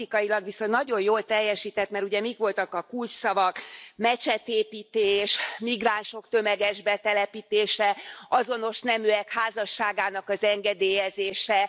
Politikailag viszont nagyon jól teljesített, mert ugye mik voltak a kulcsszavak mecsetépítés, migránsok tömeges betelepítése, azonos neműek házasságának az engedélyezése...